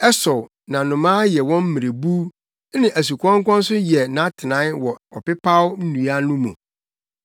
Ɛsow na nnomaa yɛ wɔn mmerebuw, na asukɔnkɔn nso yɛ nʼatenae wɔ ɔpepaw nnua no mu.